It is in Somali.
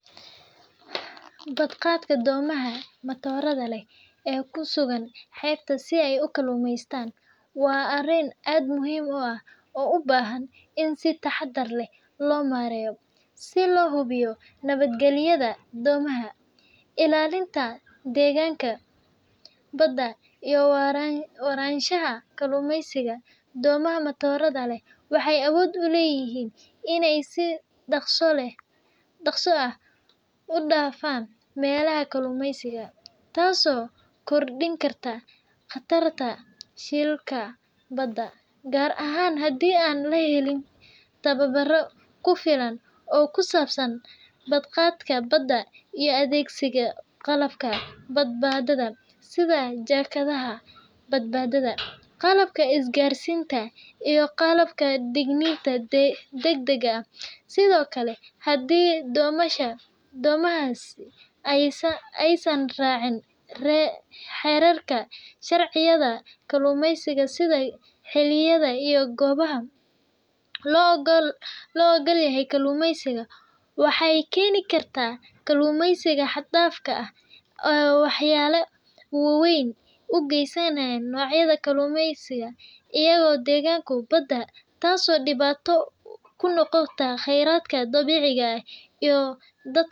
Badqabka doomaha matoorada leh ee ku sugan xeebaha si ay u kalluumaystaan waa arrin aad u muhiim ah oo u baahan in si taxaddar leh loo maareeyo si loo hubiyo nabadgelyada doomaha, ilaalinta deegaanka badda, iyo waaraanshaha kalluumaysiga. Doomaha matoorada leh waxay awood u leeyihiin inay si dhaqso ah u dhaafaan meelaha kalluumaysiga, taasoo kordhin karta khatarta shilalka badda, gaar ahaan haddii aan la helin tababar ku filan oo ku saabsan badqabka badda iyo adeegsiga qalabka badbaadada sida jaakadaha badbaadada, qalabka isgaarsiinta, iyo qalabka digniinta degdegga ah. Sidoo kale, haddii doomahaasi aysan raacin xeerarka iyo sharciyada kalluumaysiga, sida xilliyada iyo goobaha loo oggol yahay kalluumaysiga, waxay keeni kartaa kalluumaysi xad-dhaaf ah oo waxyeello weyn u geysanaya noocyada kalluunka iyo deegaanka badda, taasoo dhibaato ku noqota kheyraadka dabiiciga ah iyo dadka.